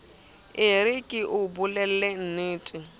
e re ke o bolellennete